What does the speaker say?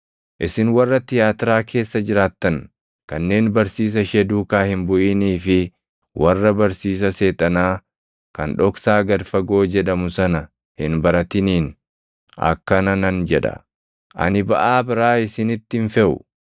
Isin warra Tiyaatiraa keessa jiraattan kanneen barsiisa ishee duukaa hin buʼinii fi warra barsiisa Seexanaa kan dhoksaa gad fagoo jedhamu sana hin baratiniin akkana nan jedha; ‘Ani baʼaa biraa isinitti hin feʼu;